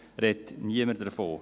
Es redet niemand davon.